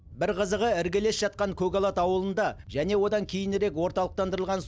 бір қызығы іргелес жатқан көкалат ауылында және одан кейінірек орталықтандырылған